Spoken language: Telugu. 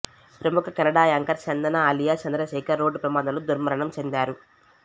ప్రముఖ Kannada anchor Chandan alias Chandrashekhar road ప్రమాదంలో దుర్మరణం చెందారు